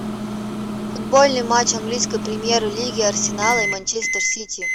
футболный матч английской премьер лиги арсенала и манчестер сити